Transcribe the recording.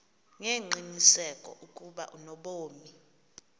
ngengqiniseko ukuba unobomi